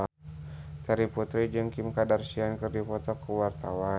Terry Putri jeung Kim Kardashian keur dipoto ku wartawan